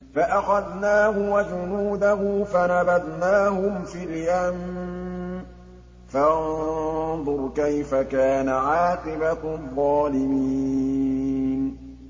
فَأَخَذْنَاهُ وَجُنُودَهُ فَنَبَذْنَاهُمْ فِي الْيَمِّ ۖ فَانظُرْ كَيْفَ كَانَ عَاقِبَةُ الظَّالِمِينَ